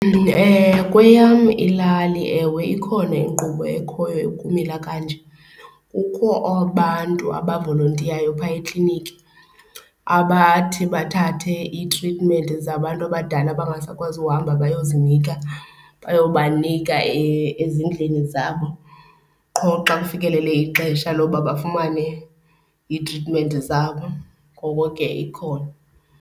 Kweyam ilali ewe ikhona inkqubo ekhoyo ekumila kanje. Kukho abantu abavolontiyayo phaa ekliniki, abathi bathathe iitritimenti zabantu abadala abangasakwazi uhamba bayozinika, bayobanika ezindlini zabo qho xa kufikelele ixesha loba bafumane iitritimenti zabo. Ngoko ke ikhona.